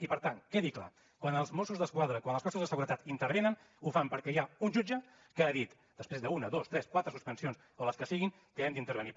i per tant quedi clar quan els mossos d’esquadra quan els cossos de seguretat intervenen ho fan perquè hi ha un jutge que ha dit després d’una dos tres quatre suspensions o les que siguin que hem d’intervenir